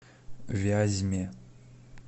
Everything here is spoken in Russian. вязьме